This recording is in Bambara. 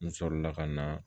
N sɔrɔ la ka na